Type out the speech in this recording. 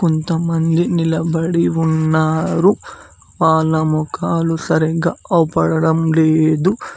కొంతమంది నిలబడి ఉన్నారు వాళ్ల ముఖాలు సరిగ్గా అవ్పడడం లేదు.